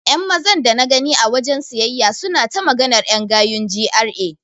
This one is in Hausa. Ƴan Mazan dana gani a wajen siyayya suna ta maganar ƴan gayun GRA.